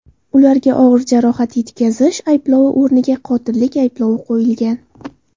Ularga og‘ir jarohat yetkazish ayblovi o‘rniga qotillik ayblovi qo‘yilgan.